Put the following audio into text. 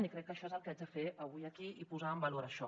i crec que això és el que haig de fer avui aquí i posar en valor això